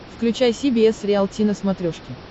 включай си би эс риалти на смотрешке